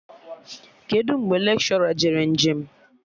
Kedụ mgbe lekshọra jere nje m?